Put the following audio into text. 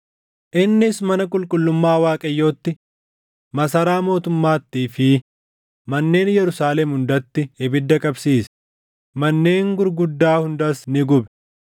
Innis mana qulqullummaa Waaqayyootti, masaraa mootummaattii fi manneen Yerusaalem hundatti ibidda qabsiise; manneen gurguddaa hundas ni gube.